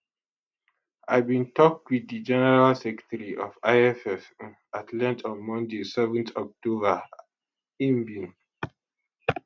i bin tok wit di general secretary of lff um at length on monday 7th october and im bin